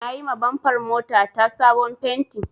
Na yima bamfar mota ta sabon fenti